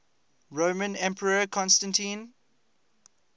roman emperor constantine